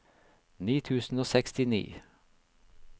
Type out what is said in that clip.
ni tusen og sekstini